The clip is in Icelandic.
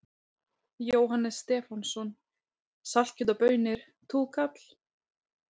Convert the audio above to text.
Jóhannes Stefánsson: Saltkjöt og baunir, túkall?